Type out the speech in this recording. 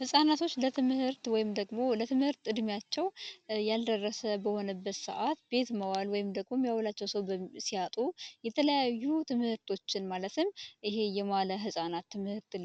ህጻናቶች ለትምህርት ወይም ደግሞ ለትምህርት ዕድሜያቸው ያልደረሰ በሆነበት ሰዓት ቤት መዋል ወይም ደግሞ የሁላቸው ሰው ሲያጡ የተለያዩ ትምህርቶችን ማለትም ይሄ የማለ ህፃናት ትምህርት